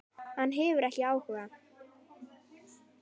Hann hefur ekki áhuga.